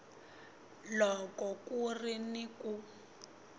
loko ku ri ni ku